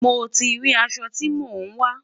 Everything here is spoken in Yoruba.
mo tí rí aṣọ tí mọ n wa